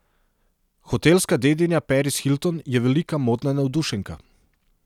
Hotelska dedinja Paris Hilton je velika modna navdušenka.